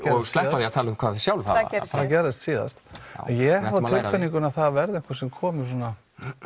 sleppa því að tala um hvað við sjálf það gerðist síðast en ég hef á tilfinningunni að það verði einhver sem komi svona